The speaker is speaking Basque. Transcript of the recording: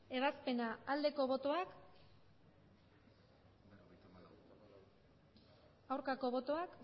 ebazpena aldeko botoak aurkako botoak